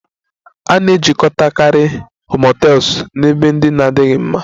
A na-ejikọtakarị motels na ebe ndị na-adịghị mma